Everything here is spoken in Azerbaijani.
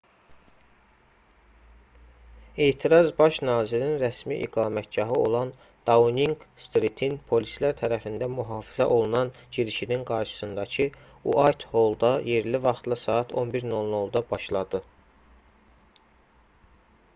etiraz baş nazirin rəsmi iqamətgahı olan dauninq-stritin polislər tərəfindən mühafizə olunan girişinin qarşısındakı uaytholda yerli vaxtla saat 11:00-da utc+1 başladı